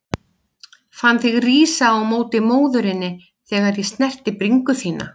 Fann þig rísa á móti móðurinni þegar ég snerti bringu þína.